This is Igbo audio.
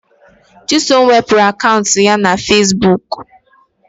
Chisom wepụrụ akaụntụ ya na Fesbuk